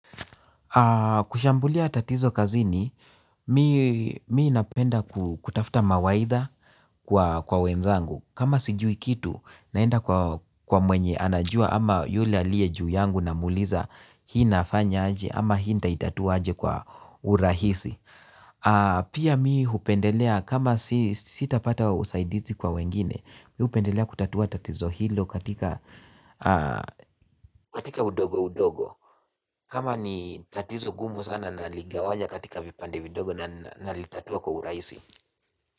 Kushambulia tatizo kazini, mimi napenda kutafuta mawaidha kwa wenzangu. Kama sijui kitu, naenda kwa mwenye anajua ama yule aliye juu yangu namuliza. Hii nafanya aje ama hii nitaitatua aje kwa urahisi. Pia mimi hupendelea kama sitapata usaidizi kwa wengine. Mimi hupendelea kutatua tatizo hilo katika udogo udogo. Kama ni tatizo gumu sana naligawanya katika vipande vidogo na nalitatua kwa urahisi.